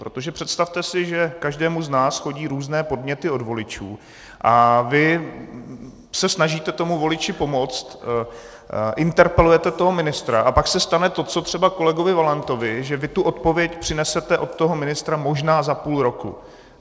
Protože představte si, že každému z nás chodí různé podněty od voličů a vy se snažíte tomu voliči pomoct, interpelujete toho ministra a pak se stane to, co třeba kolegovi Valentovi, že vy tu odpověď přinesete od toho ministra možná za půl roku.